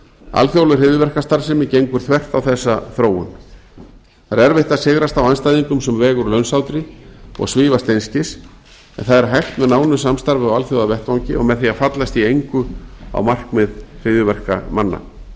alþjóðleg hryðjuverkastarfsemi gengur þvert á þessa þróun það er erfitt að sigrast á andstæðingum sem vega úr launsátri og svífast einskis en það er hægt með nánu samstarfi á alþjóðavettvangi og með því að fallast í engu á markmið hryðjuverkamanna